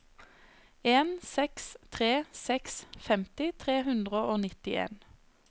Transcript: en seks tre seks femti tre hundre og nittien